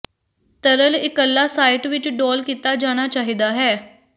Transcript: ਤਰਲ ਇਕੱਲਾ ਸਾਈਟ ਵਿੱਚ ਡੋਲ੍ਹ ਕੀਤਾ ਜਾਣਾ ਚਾਹੀਦਾ ਹੈ